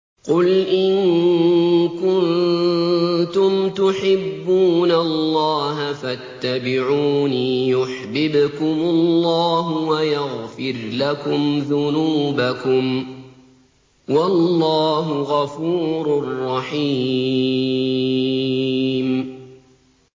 قُلْ إِن كُنتُمْ تُحِبُّونَ اللَّهَ فَاتَّبِعُونِي يُحْبِبْكُمُ اللَّهُ وَيَغْفِرْ لَكُمْ ذُنُوبَكُمْ ۗ وَاللَّهُ غَفُورٌ رَّحِيمٌ